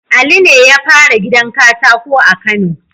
Ali ne yafara gidan katako a kano